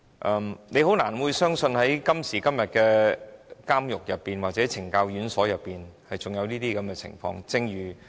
我們都覺得難以相信，今時今日的監獄或懲教院所竟然還有這種情況。